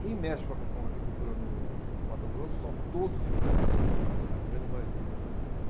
Quem mexe com agri, com agricultura no Mato Grosso são todos de fora, a grande maioria.